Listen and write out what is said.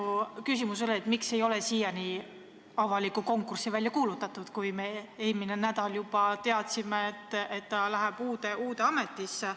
Minu küsimus oli, miks ei ole siiani avalikku konkurssi välja kuulutatud, kui me juba eelmine nädal teadsime, et riigisekretär läheb uude ametisse.